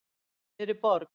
Inní miðri borg.